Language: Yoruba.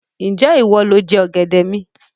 Ń jẹ́ ìwọ lọ jẹ ọ̀gẹ̀dẹ̀ mi?